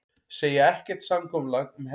Segja ekkert samkomulag um herþotur